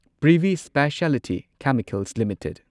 Privi speciality chemicals limited